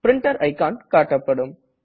printer icon காட்டப்படும்